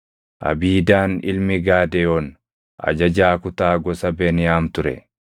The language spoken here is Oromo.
Abiidaan ilmi Gaadeyoon ajajaa kutaa gosa Beniyaam ture.